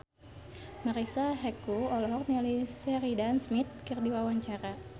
Marisa Haque olohok ningali Sheridan Smith keur diwawancara